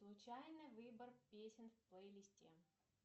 случайный выбор песен в плейлисте